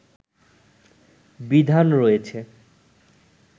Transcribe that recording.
বিধান রয়েছে